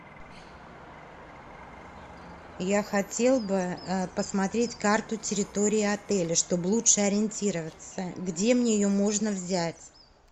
я хотел бы посмотреть карту территории отеля чтоб лучше ориентироваться где мне ее можно взять